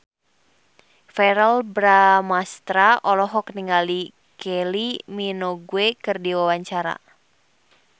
Verrell Bramastra olohok ningali Kylie Minogue keur diwawancara